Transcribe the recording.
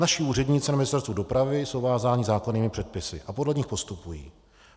Naši úředníci na Ministerstvu dopravy jsou vázáni zákonnými předpisy a podle nich postupují.